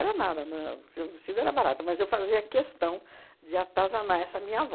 nada, né, porque o vestido era barato, mas eu fazia questão de atazanar essa minha avó.